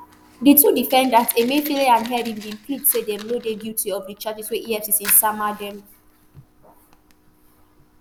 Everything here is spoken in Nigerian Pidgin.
di two defendants emefiele and henry bin plead say dem no dey guilty of di charges wey efcc sama dem